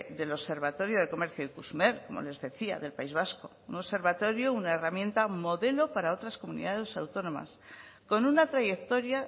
del observatorio de comercio ikusmer como les decía del país vasco un observatorio una herramienta modelo para otras comunidades autónomas con una trayectoria